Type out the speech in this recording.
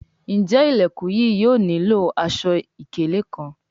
Njé Ilẹkùn yìí yóò nilo aṣọ-ikele kán?